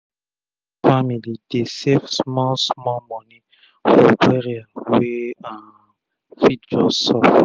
smith family dey save small small moni for burial wey um fit just sup